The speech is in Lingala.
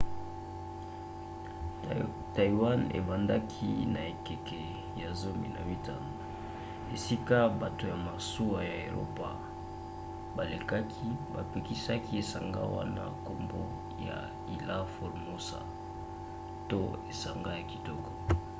taïwan ebandaki na ekeke ya 15 esika bato ya masuwa ya eropa balekaki bapesaki esanga wana nkombo ya ilha formosa to esanga ya kitoko